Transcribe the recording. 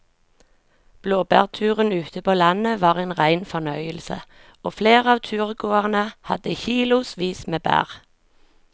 Blåbærturen ute på landet var en rein fornøyelse og flere av turgåerene hadde kilosvis med bær.